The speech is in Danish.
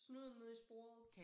Snuden nede i sporet